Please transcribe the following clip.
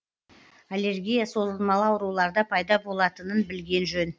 аллергия созылмалы ауруларда пайда болатынын білген жөн